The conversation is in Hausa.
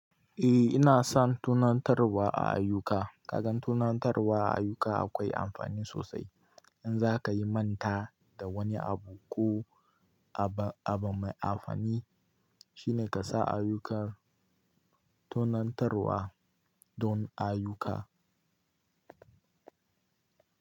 Eh ina son tunantarwa a ayuka. Kaga tunantarwa a ayuka akwai amfani sosai. In za ka yi manta da wani abu ko abu mai amfani shine ka sa ayukan tunantarwa don ayuka.